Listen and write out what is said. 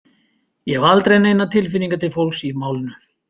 Ég hef aldrei neinar tilfinningar til fólksins í málinu.